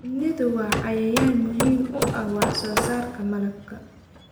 Shinnidu waa cayayaan muhiim u ah wax soo saarka malabka.